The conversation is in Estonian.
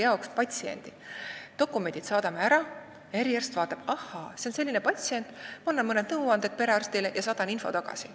Me saadame dokumendid ära ja eriarst vaatab: ahaa, see on selline patsient, ma annan perearstile mõned nõuanded ja saadan info tagasi.